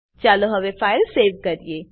ચાલો હવે file save કરીએ